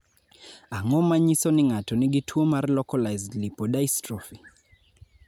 Ang�o ma nyiso ni ng�ato nigi tuo mar Localized lipodystrophy?